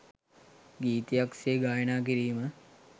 ගීතයක් සේ ගායනා කිරීම